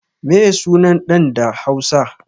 Meye sunan ɗan ɗa da hausa?